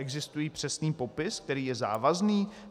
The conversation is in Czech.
Existuje přesný popis, který je závazný?